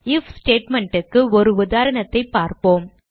if statement க்கு ஒரு உதாரணத்தைப் பார்ப்போம்